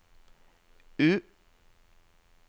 U